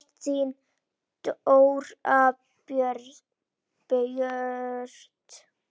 Ást, þín Dóra Björt.